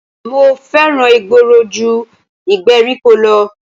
Mo fẹ́ràn ìgboro ju ìgbèríko lọ